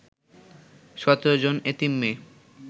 ১৭ জন এতিম মেয়ে